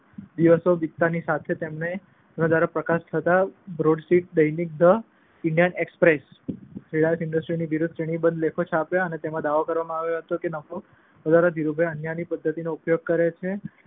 દ્વારા પ્રકાશિત થતા બ્રોડશિટ દૈનિક ધ ઈન્ડિયન એક્સપ્રેસે રીલાયન્સ ઈન્ડસ્ટ્રીઝની વિરુદ્ધમાં શ્રેણીબદ્ધ લેખો છાપ્યા અને તેમાં દાવો કરવામાં આવ્યો કે નફો વધારવા માટે ધીરુભાઈ અન્યાયી પદ્ધતિઓનો ઉપયોગ કરે છે.